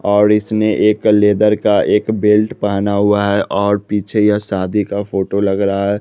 और इसने एक लेदर का एक बेल्ट पहना हुआ है और पीछे यह शादी का फोटो लग रहा है।